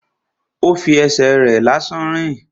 Ó fi ẹsẹ̀ rẹ̀ lásán rìn